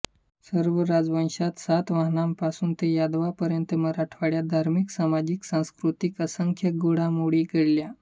सर्व राजवंशात सातवाहनांपासून ते यादवांपर्यंत मराठवाड्यात धार्मिकसामाजिकसांस्कृतिक असंख्य घडामोडी घडल्या